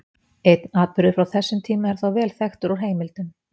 Einn atburður frá þessum tíma er þó vel þekktur úr heimildum.